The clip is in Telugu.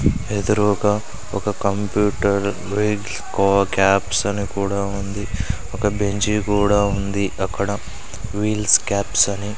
ఎదురుగా ఒక కంప్యూటర్ బ్రిడ్జ్ ఓ క్యాప్స్ అని కూడా ఉంది. ఒక బెంచీ కూడా ఉంది అక్కడ వీల్స్ కాప్స్ అని --